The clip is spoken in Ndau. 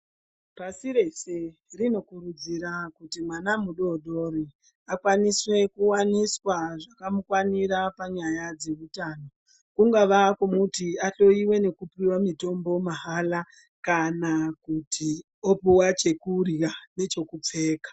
Pasi rese rinokurudzira kuti mwana mudodori akwanise kuwanise zvakamukwanira panyaya dzeutano kungava kumuti ahloyiwe nekupiwa mitombo mahala kana kuti upuwa chekurya nechekupfeka.